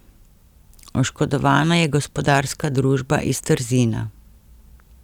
Oškodovana je gospodarska družba iz Trzina.